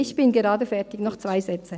Ich bin gerade fertig, noch zwei Sätze.